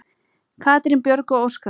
Katrín Björg og Óskar.